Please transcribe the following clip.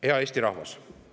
Hea Eesti rahvas!